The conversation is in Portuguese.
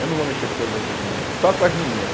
Eu não vou mexer com todas as menina não, só com as mineira.